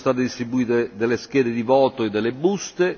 Vi sono state distribuite delle schede di voto e delle buste.